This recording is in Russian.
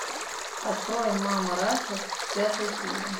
открой мама раша пятая серия